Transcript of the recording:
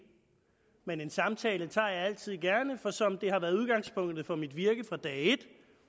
men en samtale tager jeg altid gerne for som det har været udgangspunktet for mit virke fra dag et